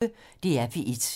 DR P1